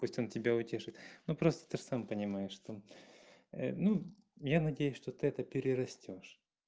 пусть он тебя утешит ну просто ты ж сам понимаешь что ну я надеюсь что ты это перерастёшь